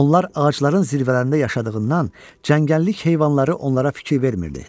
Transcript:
Onlar ağacların zirvələrində yaşadığından, cəngəllik heyvanları onlara fikir vermirdi.